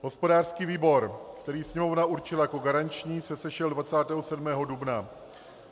Hospodářský výbor, který Sněmovna určila jako garanční, se sešel 27. dubna.